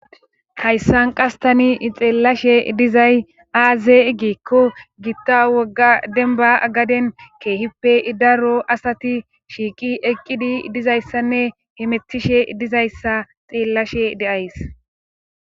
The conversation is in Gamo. Hayssan qastani xeellashe dizay aaze egikko gitta wogga denba agaden keehippe idaro asati shiiqi eqqidi dizayssanne hemetishe dizayssa xeellashe deays.